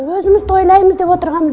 өзіміз тойлаймыз деп отырғанбыз